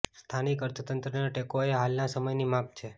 સ્થાનિક અર્થતંત્રને ટેકો એ હાલના સમયની માગ છે